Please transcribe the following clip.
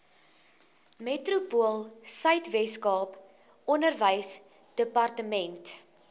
metropoolsuid weskaap onderwysdepartement